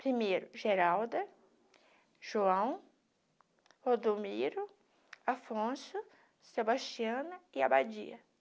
Primeiro, Geralda, João, Rodomiro, Afonso, Sebastiana e Abadia.